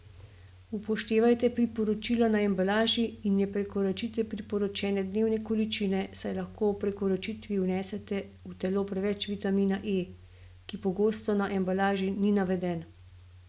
Upoštevajte priporočila na embalaži in ne prekoračite priporočene dnevne količine, saj lahko ob prekoračitvi vnesete v telo preveč vitamina E, ki pogosto na embalaži ni naveden.